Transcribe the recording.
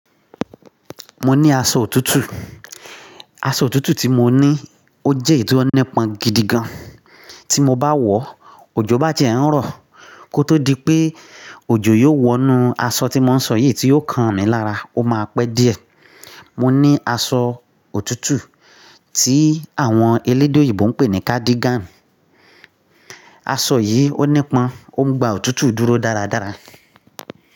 Mo ní aṣọ òtútù. Aṣọ òtútù tí mo ní ó jẹ́ èyí ọ́nípọn gidi gan. Tí mo bá wọ̀, òjò bá ti ẹ ń rọ̀ kó tó dípé òjò yóò wọ inú aṣọ tí mo ń sọ yìí tí yóò kan mi lára ó má pẹ́ di ẹ mọni aṣọ òtútù tí àwọn elédè yìnbó ń pè ní cardigan. Aṣọ yìí ọ́nípọn ó ń gba òtútù dúró dáàrádára.